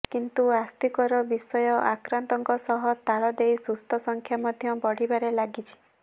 କିନ୍ତୁ ଆଶ୍ବସ୍ତିକର ବିଷୟ ଆକ୍ରାନ୍ତଙ୍କ ସହ ତାଳ ଦେଇ ସୁସ୍ଥ ସଂଖ୍ୟା ମଧ୍ୟ ବଢିବାରେ ଲାଗିଛି